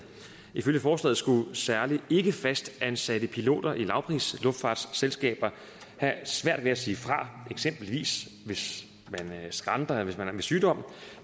ifølge forslaget skulle særlig ikkefastansatte piloter i lavprisluftfartsselskaber have svært ved at sige fra eksempelvis hvis de skranter eller døjer med sygdom